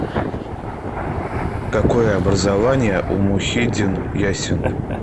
какое образование у мухиддин яссин